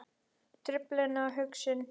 Truflun á hugsun